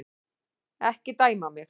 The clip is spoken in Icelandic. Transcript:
Ekki dæma mig.